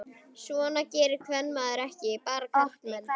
Svona gerði kvenmaður ekki, bara karlmenn.